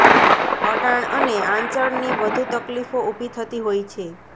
અડાણ અને આંચળની વધુ તકલીફો ઉભી થતી હોય છે